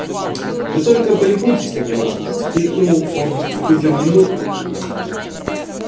вы только полюбуйтесь на него воскликнул он в ту же минуту